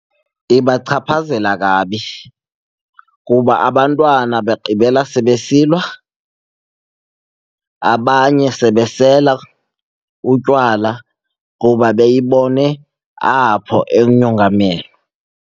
Ibachaphazela kabi kuba abantwana bagqibela sebesilwa, abanye sebesela utywala kuba beyibone apho .